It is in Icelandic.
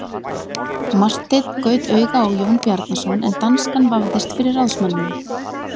Marteinn gaut auga á Jón Bjarnason en danskan vafðist fyrir ráðsmanninum.